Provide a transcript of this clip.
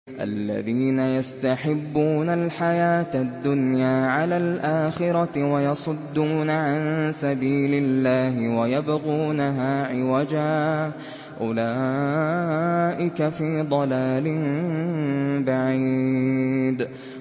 الَّذِينَ يَسْتَحِبُّونَ الْحَيَاةَ الدُّنْيَا عَلَى الْآخِرَةِ وَيَصُدُّونَ عَن سَبِيلِ اللَّهِ وَيَبْغُونَهَا عِوَجًا ۚ أُولَٰئِكَ فِي ضَلَالٍ بَعِيدٍ